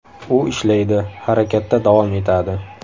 U ishlaydi, harakatda davom etadi.